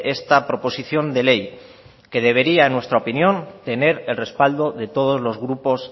esta proposición de ley que debería en nuestra opinión tener el respaldo de todos los grupos